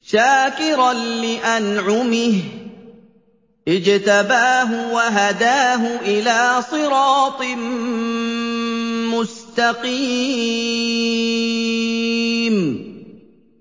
شَاكِرًا لِّأَنْعُمِهِ ۚ اجْتَبَاهُ وَهَدَاهُ إِلَىٰ صِرَاطٍ مُّسْتَقِيمٍ